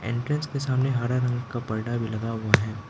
Entrance के सामने हर रंग का परदा भी लगा हुआ है।